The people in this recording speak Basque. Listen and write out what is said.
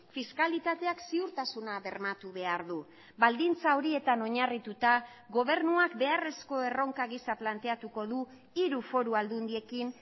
fiskalitateak ziurtasuna bermatu behar du baldintza horietan oinarrituta gobernuak beharrezko erronka gisa planteatuko du hiru foru aldundiekin